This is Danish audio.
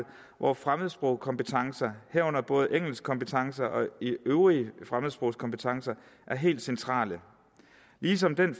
hvor fremmedsprogskompetencer herunder både engelskkompetencer og øvrige fremmedsprogskompetencer er helt centrale ligesom den